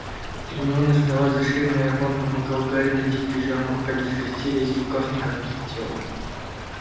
гермиона ждала за ширмой а рон помогал гарри надеть пижаму рука без костей лезть в рукав никак не хотела